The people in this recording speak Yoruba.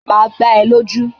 Máa gbá é lójú